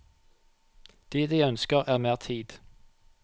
Det de ønsker er mer tid.